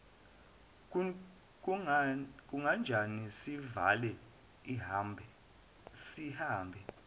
kunganjani sivale sihambe